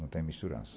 Não tem misturança.